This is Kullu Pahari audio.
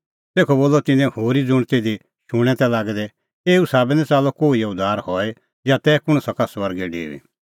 तेखअ बोलअ तिन्नैं होरी ज़ुंण तिधी शूणैं तै लागै एऊ साबै निं च़ाल्लअ कोहिओ उद्धार हई या तै कुंण सका स्वर्गै डेऊई